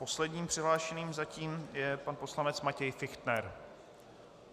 Posledním přihlášeným zatím je pan poslanec Matěj Fichtner.